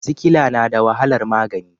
Sikila na da wahalar magani.